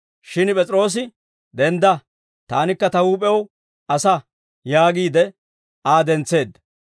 Shin P'es'iroosi, «Dendda! Taanikka ta huup'ew asaa» yaagiide Aa dentseedda.